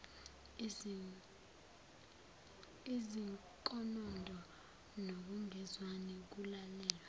izinkonondo nokungezwani kulalelwa